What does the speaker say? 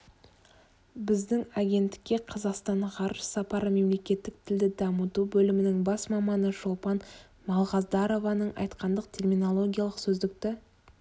біздің агенттікке қазақстан ғарыш сапары мемлекеттік тілді дамыту бөлімінің бас маманы шолпан малғаздарованың айтқанындай терминологиялық сөздікті